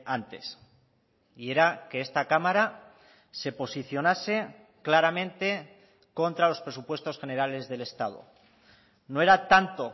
antes y era que esta cámara se posicionase claramente contra los presupuestos generales del estado no era tanto